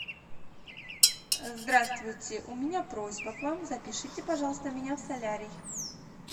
здравствуйте у меня просьба к вам запишите пожалуйста меня в солярий